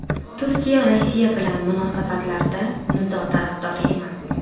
Turkiya Rossiya bilan munosabatlarda nizo tarafdori emas.